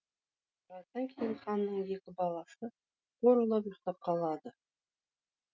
біраздан кейін ханның екі баласы қорылдап ұйықтап қалады